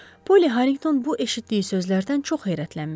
Poli Harrington bu eşitdiyi sözlərdən çox heyrətlənmişdi.